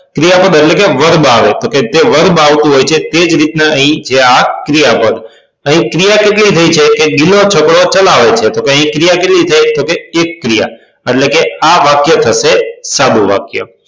ક્રિયાપદ એટલે કે verb આવે તો એ verb આવતું હોય છે તે જ રીતના અહી છે આ ક્રિયાપદ અહી ક્રિયા કેટલી થઇ છે કે ગિલો છકડો ચલાવે છે તો અહિયાં ક્રિયા કેટલી થઈ છે તો કે એક ક્રિયા તો આ વાક્ય થશે સાદું વાક્ય